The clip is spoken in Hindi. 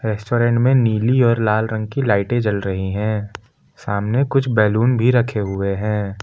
रेस्टोरेंट में नीली और लाल रंग की लाइटें जल रही है सामने कुछ बैलून भी रखे हुए है।